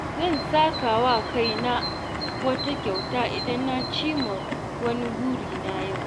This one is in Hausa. Zan saka wa kaina wata kyauta idan na cimma wani burina yau.